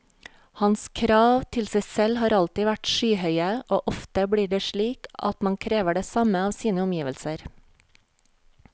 Hans krav til seg selv har alltid vært skyhøye, og ofte blir det slik at man krever det samme av sine omgivelser.